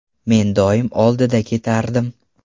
Men doim oldida ketardim.